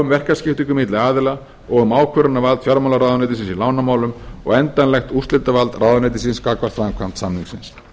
um verkskiptingu milli aðila og um ákvörðunarvald fjármálaráðuneytisins í lánamálum og endanlegt úrslitavald ráðuneytisins gagnvart framkvæmd samningsins